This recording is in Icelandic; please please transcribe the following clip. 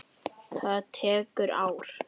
Það tekur ár.